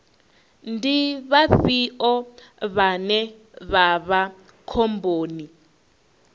ndi vhafhio vhane vha vha khomboni